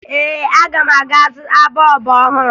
Ee, aga m aga zụta bọọbụ ọhụrụ